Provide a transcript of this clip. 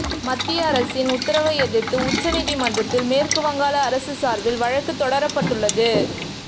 மத்திய அரசின் உத்தரவை எதிர்த்து உச்ச நீதிமன்றத்தில் மேற்கு வங்காள அரசு சார்பில் வழக்கு தொடரப்பட்டுள்ளது